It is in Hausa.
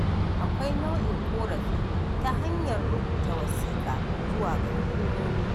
Akwai nau'in ƙorafi ta hanyar rubuta wasiƙa zuwa ga hukumomi.